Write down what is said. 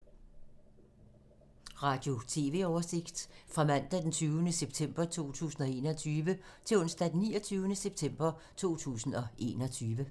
Radio/TV oversigt fra mandag d. 20. september 2021 til onsdag d. 29. september 2021